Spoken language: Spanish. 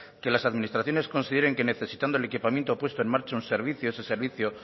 que las administraciones consideren que necesitando el equipamiento puesto en marcha un servicio ese servicio